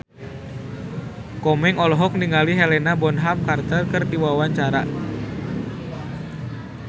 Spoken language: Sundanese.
Komeng olohok ningali Helena Bonham Carter keur diwawancara